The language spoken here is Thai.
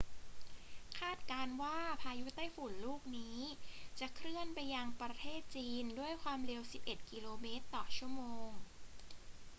คาดการณ์ว่าพายุไต้ฝุ่นลูกนี้จะเคลื่อนไปยังประเทศจีนด้วยความเร็ว 11 กิโลเมตรต่อชั่วโมง